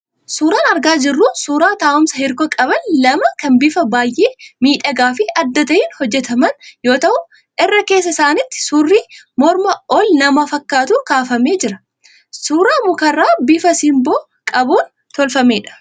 Suuraan argaa jirru suuraa taa'umsa hirkoo qaban lamaa kan bifa baay'ee miidhagaa fi adda ta'een hojjetaman yoo ta'u, irra keessa isaaniitti suurri morma ol nama fakkaatu kaafamee jira. Suura mukarraa bifa simboo qabuun tolfamedha.